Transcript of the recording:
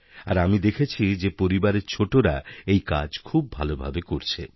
আর আমিদেখেছি যে পরিবারের ছোটরা এই কাজ খুব ভালভাবে করছে